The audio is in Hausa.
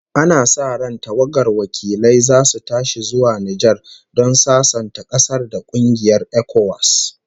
Ana sa ran tawagar wakilai zasu tashi zuwa Nijar don sasanta ƙasar da kungiyar ECOWAS